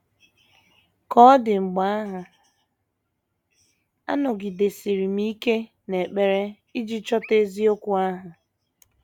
Ka ọ dị mgbe ahụ, anọgidesiri m ike n’ekpere iji chọta eziokwu ahụ.